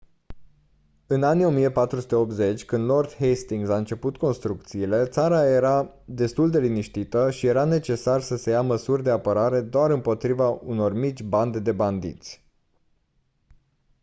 în anii 1480 când lord hastings a început construcțiile țara era destul de liniștită și era necesar să se ia măsuri de apărare doar împotriva unor mici bande de bandiți